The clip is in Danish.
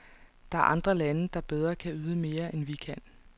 Der er andre lande, der bedre kan yde mere, end vi kan.